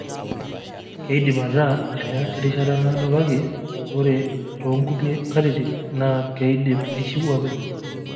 Keidim ataa ene rishata naado kake ore toonkulie katitin naa keidim aishiu oopeny.